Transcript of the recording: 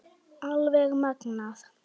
Alveg magnað!